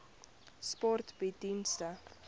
sport bied dienste